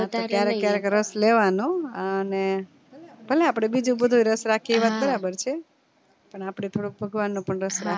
ક્યારેક ક્યારે રસ લેવાનો હો અને ભલે આપડે બીજું બધુય રસ રાખીએ ઈ વાત બરાબર છે પણ આપે થોડોક ભગવાન નો પણ રસ રાખવાનો